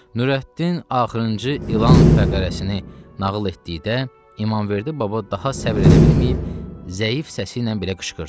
Nurəddin axırıncı ilan fəqərəsini nağıl etdikdə İmamverdi baba daha səbr edə bilməyib, zəif səsi ilə belə qışqırdı.